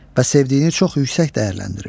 Və sevdiyini çox yüksək dəyərləndirir.